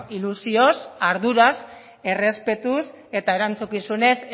ilusioz arduraz errespetuz eta erantzukizunez